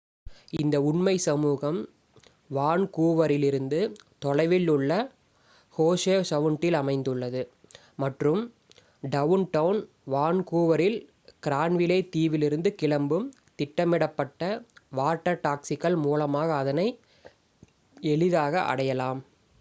இந்த உண்மை சமூகம் வான்கூவரிலிருந்து தொலைவில் உள்ள ஹோவெ சவுண்டில் அமைந்துள்ளது மற்றும் டவுன்டவுன் வான்கூவரில் கிரான்விலே தீவிலுருந்து கிளம்பும் திட்டமிடப்பட்ட வாட்டர் டாக்சிக்கள் மூலமாக அதனை எளிதாக அடையலாம்